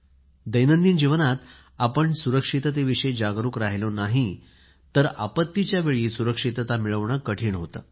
दैनंदिन जीवनात आपण सुरक्षिततेविषयी जागरूक राहिलो नाही तर आपत्तीच्या वेळी सुरक्षितता मिळवणे कठीण होते